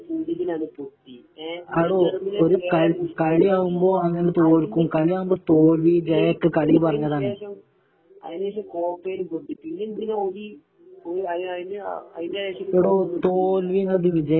ഏഴേ പൂജ്യത്തിനാണ് പൊട്ടിയെ എ ജർമനിയായിട്ട് ഏഴേ പൂജ്യത്തിനാണ് പൊട്ടിയെ അതിനു ശേഷം അതിനു ശേഷം കോപ്പയില് പൊട്ടി പിന്നെന്തിനാ ഓല് അത് അതിന്റെ ശേഷം ഒരു കോപ്പും കിട്ടീടില്ല